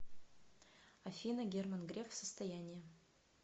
афина герман греф состояние